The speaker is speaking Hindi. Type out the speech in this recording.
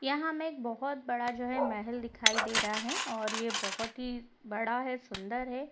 यहाँ हमें एक बहोत बड़ा जो है महल दिखाई दे रहा है और ये बहोत ही बड़ा है सुन्दर है।